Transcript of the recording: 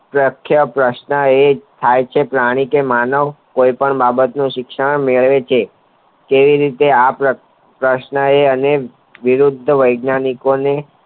પ્રખ્યાત વર્ષના એ થાય છે પ્રાણી કે માનવ કોઈ પણ બાબત નો શિક્ષણ મેળવે છે ટ્વિ રીતે આ પ્રક્રિયા પ્રશ્ન એ અને વિવિધ વૈજ્ઞાનિક પણ